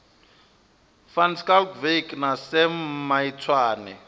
van schalkwyk na sam maitswane